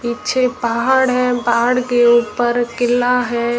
पीछे पहाड़ है पहाड़ के ऊपर किला है।